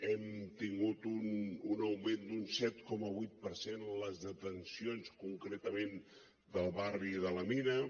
hem tingut un augment d’un set coma vuit per cent en les detencions concretament del barri de la mina